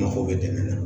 Mako bɛ dɛmɛ na